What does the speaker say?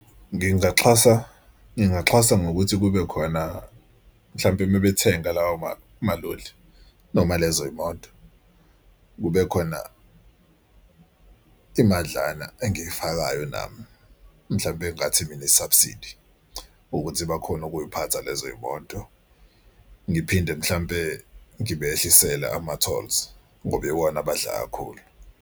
Ngingaxhaza ngingaxhasa ngokuthi kube khona mhlampe uma bethenga lawo maloli noma lezo yimoto kube khona imadlana engifakayo nami. Mhlawumbe engathi mina i-subsidy ukuthi bakhone ukuyiphatha lezo yimoto. Ngiphinde mhlampe ngibehlisele ama-tolls ngoba iwona abadla kakhulu.